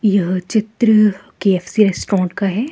यह चित्र K F C restaurant का है ।